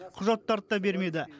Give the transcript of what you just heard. құжаттарды да бермеді